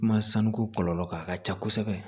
Kuma sanu ko kɔlɔlɔ ka ca kosɛbɛ